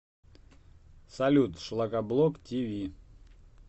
салют шлакоблок ти ви